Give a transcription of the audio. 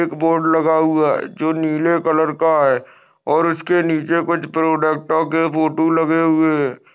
एक बोर्ड लगा हुआ है जो नीले कलर का है और उसके नीचे कुछ प्रोडक्टो के फोटो लगे हुए.